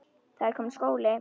Það er kominn skóli.